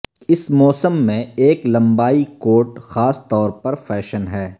اس موسم میں ایک لمبائی کوٹ خاص طور پر فیشن ہے